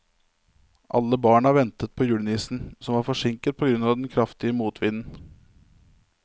Alle barna ventet på julenissen, som var forsinket på grunn av den kraftige motvinden.